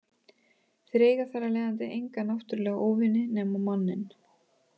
Þeir eiga þar af leiðandi enga náttúrulega óvini nema manninn.